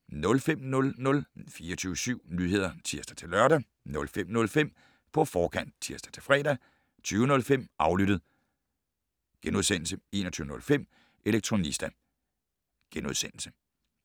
05:00: 24syv Nyheder (tir-lør) 05:05: På forkant (tir-fre) 20:05: Aflyttet * 21:05: Elektronista *